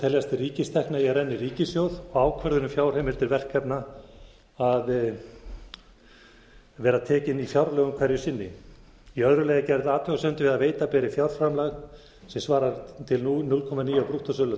teljast til ríkistekna eigi að renna í ríkissjóð og ákvörðun um fjárheimildir verkefna að vera tekin í fjárlögum hverju sinni í öðru lagi er gerð athugasemd við að veita beri fjárframlag sem svarar til núll komma níu prósent brúttósölu